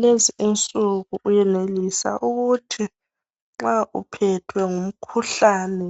Lezi insuku uyenelisa ukuthi nxa uphethwe ngumkhuhlane